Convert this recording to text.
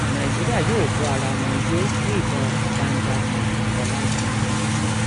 nàìjíríà yóò bo ara wọn yọ bí ìdá ọgbọn bá ń dáko ọlajáń